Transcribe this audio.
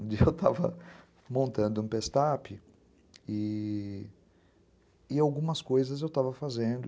Um dia eu estava montando um pestape e e algumas coisas eu estava fazendo.